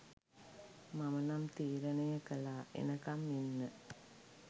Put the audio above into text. මම නම් තීරණය කළාඑනකම් ඉන්න